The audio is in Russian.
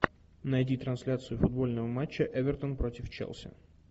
найди трансляцию футбольного матча эвертон против челси